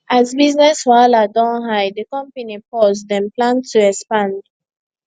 as business wahala don high di company pause dem plan to expand